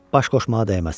Baş qoşmağa dəyməz.